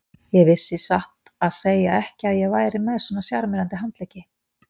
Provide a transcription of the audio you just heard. Ég vissi satt að segja ekki að ég væri með svona sjarmerandi handlegg.